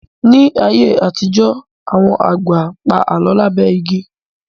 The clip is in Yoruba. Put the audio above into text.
Ní ayé àtijọ́, àwọn àgbà pa Àlọ́ lábẹ́ igi